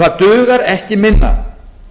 það dugar ekki minna